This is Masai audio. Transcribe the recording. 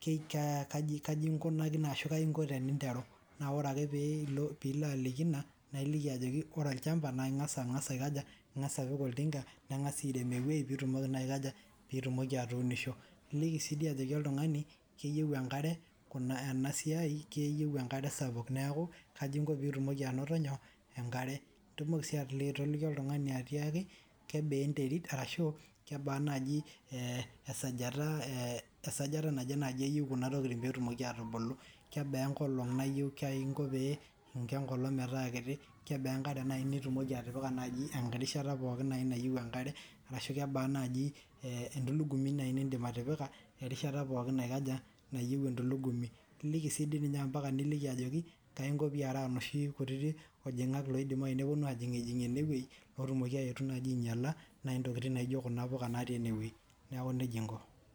kai inkunakino ashuu kayii inko teninteru naa oree akee pee ilo peeilo aliki ina naa iliki ajoki ore orchampa naa ing'asa aikaja ing'asa apik oltinka neng'asae airem ewei piitumoki naa aikaja piitumoki atuunisho nintoki sii dii ajoki oltung'ani keyieu enkare ena siai keyieu enkare sapuk neeku kaji inko piitumoki anoto nyoo enkare itumoki sii atoliki oltung'ani atiakii kebaa enterit arashuu kebaa naji esajata naje naji eyiu kuna tokiting' peeetumoki aatubulu kebaa enkolong' nayieu kaii inko pee inko enkolong' metaa kiti kebaa enkare nayii nitumoki atipika naji enkae rishata naaji nayiu enkare ashuu kebaa naji entulugumi nayii nindipa atioika erishata pookin naikaja nayiu entulugumi niliki dii sininye ampaka nikiki ajoki kaii inko piyera inoshi kutitik oo lajang'ak oiidimayu neeponu ajing' ijing' ene wei ootumoki aaetu najii ainyala intokiting' nayii naijo kuna puka naati ene wei neeku nejia inko.